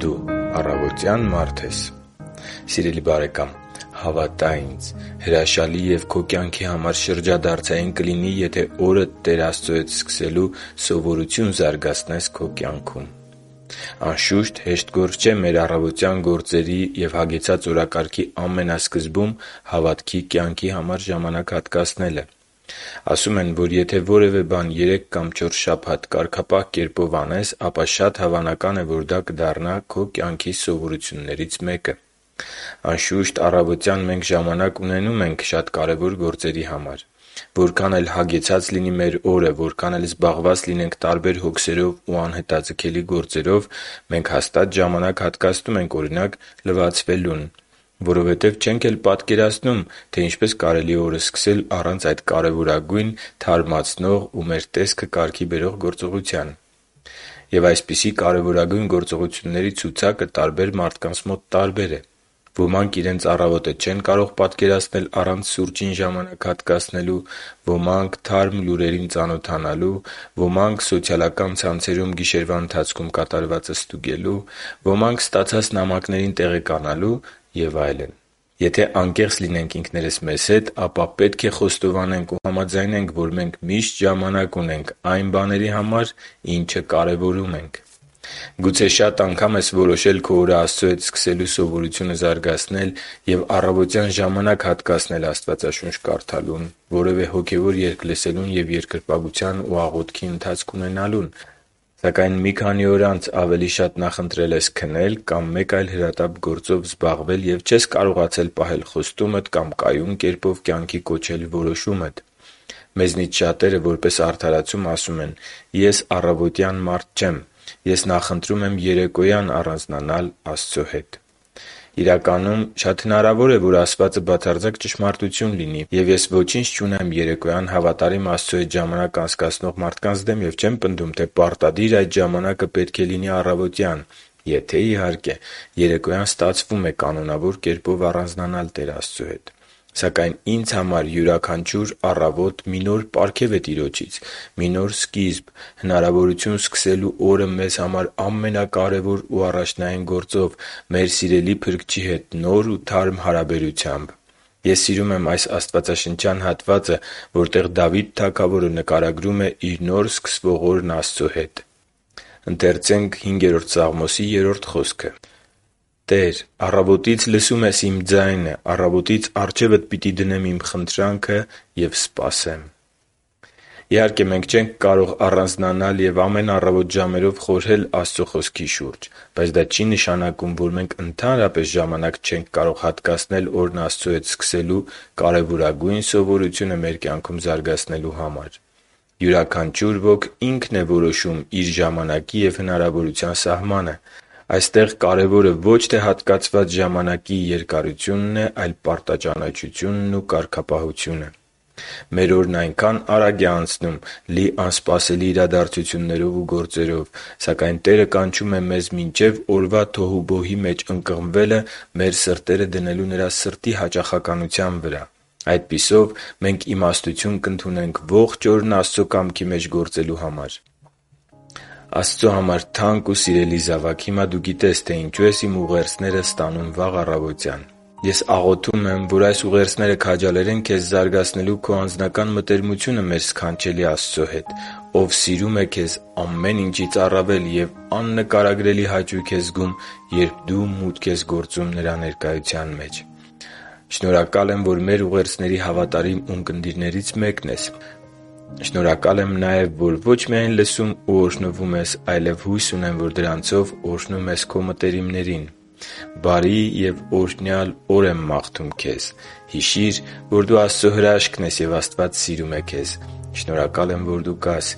դու առավոտյա՞ն մարդ ես․․․ Սիրելի՛ բարեկամ, հավատա՛ ինձ՝ հրաշալի և քո կյանքի համար շրջադարձային կլինի, եթե օրդ Տեր Աստծո հետ սկսելու սովորություն զարգացնես քո կյանքում։ Անշուշտ, հեշտ գործ չէ մեր առավոտյան գործերի և հագեցած օրակարգի ամենասկզբում հավատքի կյանքի համար ժամանակ հատկացնելը։ Ասում են, որ եթե որևէ բան երեք կամ չորս շաբաթ կարգապահ կերպով անես, ապա շատ հավանական է, որ դա դառնա քո կյանքի սովորություններից մեկը։ Անշուշտ, առավոտյան մենք ժամանակ ունենում ենք շատ կարևոր գործերի համար։ Որքան էլ հագեցած լինի մեր օրը, որքան էլ զբաղված լինենք տարբեր հոգսերով ու անհետաձգելի գործերով, մենք հաստատ ժամանակ հատկացնում ենք, օրինակ, լվացվելուն, որովհետև չենք էլ պատկերացնում, թե ինչպես կարելի է օրը սկսել առանց այդ կարևորագույն թարմացնող ու մեր տեսքը կարգի բերող գործողության։ Եվ այսպիսի կարևորագույն գործողությունների ցուցակը տարբեր մարդկանց մոտ տարբեր է։ Ոմանք իրենց առավոտը չեն կարող պատկերացնել առանց սուրճին ժամանակ հատկացնելու, ոմանք՝ թարմ լուրերին ծանոթանալու, ոմանք՝ սոցիալական ցանցերում գիշերվա ընթացքում կատարվածը ստուգելու, ոմանք ստացած նամակներին տեղեկանալու և այլն։ Եթե անկեղծ լինենք ինքներս մեզ հետ, ապա պետք է խոստովանենք ու համաձայնենք, որ մենք միշտ ժամանակ ունենք այն բաների համար, ինչը կարևորում ենք։ Գուցե շատ անգամ ես որոշել քո օրը Աստծո հետ սկսելու սովորությունը զարգացնել և առավոտյան ժամանակ հատկացնել Աստվածաշունչ կարդալուն, որևէ հոգևոր երգ լսելուն և երկրպագության ու աղոթքի ընթացք ունենալուն։ Սակայն մի քանի օր անց ավելի շատ նախընտրել ես քնել կամ մեկ այլ հրատապ գործով զբաղվել, և չես կարողացել պահել խոստումդ կամ կայուն կերպով կյանքի կոչել որոշումդ։ Մեզնից շատերը որպես արդարացում ասում են. «Ես առավոտվա մարդ չեմ։ Ես նախընտրում եմ երեկոյան առանձնանալ Աստծո հետ»։ Իրականում, շատ հնարավոր է, որ ասվածը բացարձակ ճշմարտություն լինի։ Եվ ես ոչինչ չունեմ երեկոյան հավատարիմ Աստծո հետ ժամանակ անցկացնող մարդկանց դեմ և չեմ պնդում, թե պարտադիր այդ ժամանակը պետք է լինի առավոտյան, եթե, իհարկե, երեկոյան ստացվում է կանոնավոր կերպով առանձնանալ Տեր Աստծո հետ։ Սակայն ինձ համար յուրաքանչյուր առավոտ մի նոր պարգև է Տիրոջից, մի նոր սկիզբ, հնարավորություն սկսելու օրը մեզ համար ամենակարևոր ու առաջնային գործով՝ մեր սիրելի Փրկչի հետ նոր ու թարմ հարաբերությամբ։ Ես սիրում եմ այս հատվածը, որտեղ Դավիթ թագավորը նկարագրում է իր նոր սկսվող օրն Աստծո հետ. «Տե՛ր, առավոտից լսում ես իմ ձայնը, առավոտից առջևդ պիտի դնեմ իմ խնդրանքը և սպասեմ․․․» (Սաղմոս 5․3)։ Իհարկե մենք չենք կարող առանձնանալ և ամեն առավոտ ժամերով խորհել Աստծո Խոսքի շուրջ։ Բայց դա չի նշանակում, որ մենք ընդհանրապես ժամանակ չենք կարող հատկացնել օրն Աստծո հետ սկսելու կարևորագույն սովորությունը մեր կյանքում զարգացնելու համար։ Յուրաքանչյուր ոք ինքն է որոշում իր ժամանակի և հնարավորության սահմանը։ Այստեղ կարևորը պարտաճանաչությունն է և կարգապահությունը։ Մեր օրն այնքա՜ն արագ է անցնում՝ լի անսպասելի իրադարձություններով ու գործերով․․․ Սակայն Տերը կանչում է մեզ մինչև օրվա թոհուբոհի մեջ ընկղմվելը մեր սրտերը դնելու Նրա սրտի հաճախականության վրա։ Այդպիսով, մենք իմաստություն կընդունենք ողջ օրն Աստծո կամքի մեջ գործելու համար։ Աստծո համար թանկ ու սիրելի՛ զավակ, հիմա դու գիտես, թե ինչու ես իմ ուղերձները ստանում վաղ առավոտյան (մեծամասամբ)😊։ Ես աղոթում եմ, որ այս ուղերձները քաջալերեն քեզ զարգացնելու քո անհատական մտերմությունը մեր սքանչելի Աստծո հետ, Ով սիրում է քեզ ամեն ինչից առավել և աննկարագրելի հաճույք է զգում, երբ դու մուտք ես գործում Նրա ներկայության մեջ։ Շնորհակալ եմ, որ մեր ուղերձների հավատարիմ ունկնդիրներից մեկն ես։ Շնորհակալ եմ նաև, որ ոչ միայն լսում ու օրհնվում ես, այլև հույս ունեմ, որ դրանցով օրհնում ես քո մտերիմներին։ Բարի և օրհնյալ օր եմ մաղթում քեզ։ Հիշի՛ր, որ դու Աստծո հրաշքն ես, և Աստված սիրում է քեզ։ Շնորհակալ եմ, որ դու կա՛ս